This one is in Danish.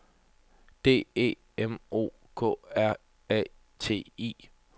D E M O K R A T I